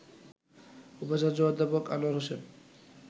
উপাচার্য অধ্যাপক আনোয়ার হোসেন